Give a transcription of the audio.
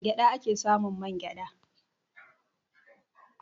A gyaɗa a ke samun man gyaɗa.